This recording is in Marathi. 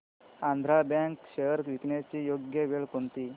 आंध्रा बँक शेअर्स विकण्याची योग्य वेळ कोणती